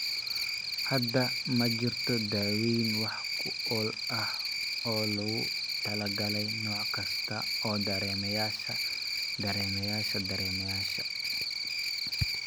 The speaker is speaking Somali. Hadda ma jirto daaweyn wax ku ool ah oo loogu talagalay nooc kasta oo dareemayaasha dareemayaasha dareemayaasha.